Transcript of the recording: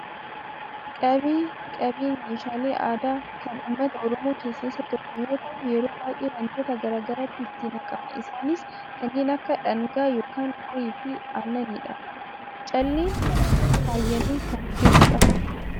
qabee, qabeen meeshaalee aadaa kan uummata Oromoo keessaa isa tokko yoo ta'u yeroo baayyee wantoota gara garaatu itti naqama, isaanis kanneen akka dhangaa yookaan qorii fi aannanidha. calleen faayyamee kan jirudha.